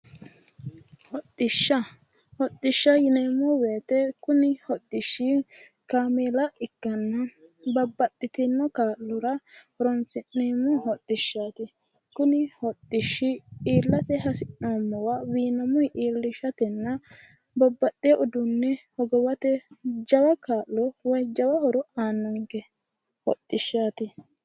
Hodhishsha hodhishsha yineemmo woyte kuni hodhishshi kaamella ikkanana babbaxino hodhishshaati Kuni hodhishshi illinammira hendoommowa wiinamunni illate kaa'lannonkenna uduunne hogophate kaa'lannonke